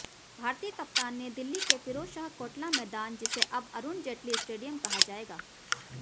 भारतीय कप्तान ने दिल्ली के फिरोजशाह कोटला मैदान जिसे अब अरुण जेटली स्टेडियम कहा जाएगा